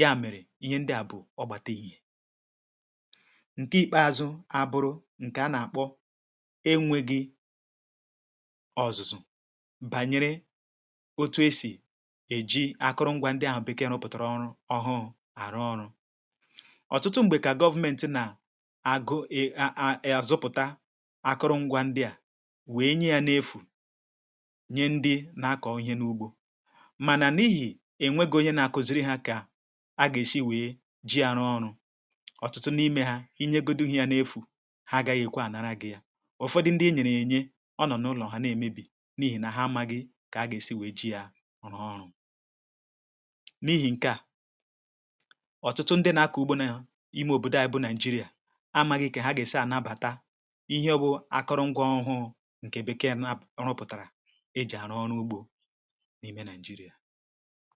ya mèrè ihe ndị à bụ̀ ọ gbàtà èhìe. Ǹke ikpeazụ̇ abụrụ̇ ǹke a nà-àkpọ enwėgȧ ọ̀zụ̀zụ̀, bànyere otu esì èji akụrụngwȧ ndị à bụ̀ bekee nupùtàrà ọrụ ọhụ̇, àrụ ọrụ akụrụ ngwa ndị à wee nye yȧ n’efù, nye ndị na-akọ ihe n’ugbȯ mànà. N’ihi enwegi̇ onye nȧ-akụziri hȧ, kà a gà-èsi wèe um ji àrụ ọrụ̇ ọ̀tụtụ n’ime hȧ, inyegodu ihe yȧ n’efù ha gȧ-ekwe ànara. Gị̇ yȧ, ụ̀fọdụ ndị e nyèrè ènye ọ nọ̀ n’ụlọ̀ hà, nà-èmebì n’ihì, nà ha amȧ gị̇ kà a gà-èsi wèe ji àrụ ọrụ. Ọ̀tụtụ ndị nà-akọ ugbȯ nà ime òbòdo àyịbụ Nigeria, ihe ọ bụ̀ akụrụ̀ngwọ̀ ọhụụ̀, ǹkèbekè n repùtàrà e jì àrụ ọrụ ugbȯ n’ime Nigeria.